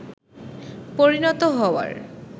পরিণত হওয়ার